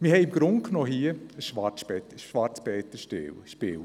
Wir spielen hier im Grunde genommen ein «Schwarzer Peter»-Spiel.